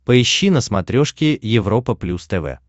поищи на смотрешке европа плюс тв